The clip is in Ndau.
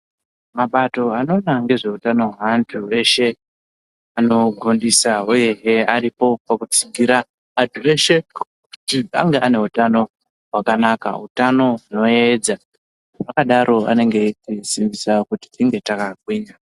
Mabato anoona ngezveutano hwantu veshe anogondisa uyehe varipo pakudzigira kuti vantu veshe kuti ange ane utano hwakanaka utano hunoyevedza zvakadaro anenge eisimbisa kuti tinge takagwinya.